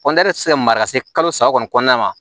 kɔntiniyera ti se ka mara ka se kalo saba kɔni kɔnɔna ma